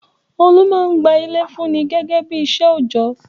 Olú máa ń gba ilé fúnni gẹ́gẹ́ bí iṣẹ́ òjọ́.